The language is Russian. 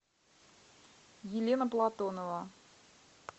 елена платонова